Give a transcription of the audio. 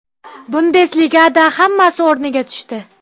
Bundesligada hammasi o‘rniga tushdi.